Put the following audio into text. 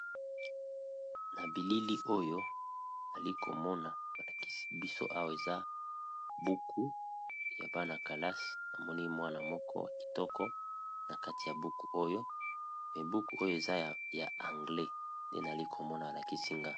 Na bilili oyo ali komona malakisi biso awa eza buku ya bana calase namoni mwana moko ya kitoko na kati ya buku oyo me buku oyo eza ya anglais nde nali komona malakisi ngai.